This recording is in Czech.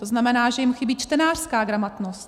To znamená, že jim chybí čtenářská gramotnost.